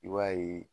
I b'a ye